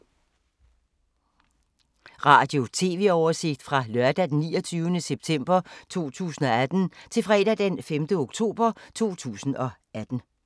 Radio/TV oversigt fra lørdag d. 29. september 2018 til fredag d. 5. oktober 2018